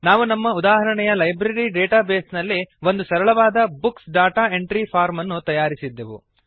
ನಾವು ನಮ್ಮ ಉದಾಹರಣೆಯ ಲೈಬ್ರರಿ ಡೇಟಾ ಬೇಸ್ ನಲ್ಲಿ ಒಂದು ಸರಳವಾದ ಬುಕ್ಸ್ ಡಾಟಾ ಎಂಟ್ರಿ ಫಾರ್ಮ್ ಅನ್ನು ತಯಾರಿಸಿದ್ದೆವು